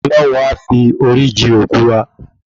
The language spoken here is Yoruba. Olọ́hun a fi orí ji òkú wa